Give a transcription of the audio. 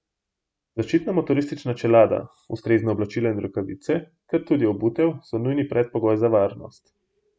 Zaščitna motoristična čelada, ustrezna oblačila in rokavice ter tudi obutev so nujni predpogoj za varnost.